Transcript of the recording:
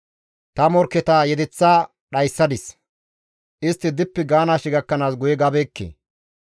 «Ta morkketa yedeththa dhayssadis; istti dippi gaanaashe gakkanaas guye gabeekke.